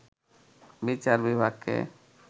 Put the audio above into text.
বিচার বিভাগকে